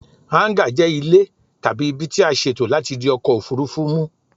Háńgà jẹ ile tabi ibi tí a ṣètò láti di ọkọ̀ òfúrufú mu